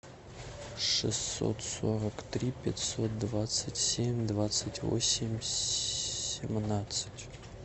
шестьсот сорок три пятьсот двадцать семь двадцать восемь семнадцать